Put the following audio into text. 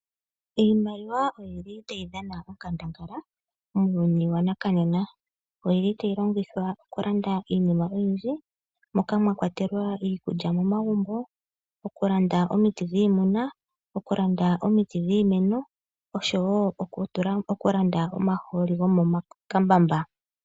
Iimaliwa oyi li tayi dhana onkandangala muuyuni waNakanena, oyi li tayi longithwa oku landa iinima oyindji moka mwa kwatelwa iikulya momagumbo, oku landa omiti dhiimuna, oku landa omiti dhiimeno oshowo oku landa omahooli gomo ma kambamba.